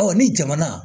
ni jamana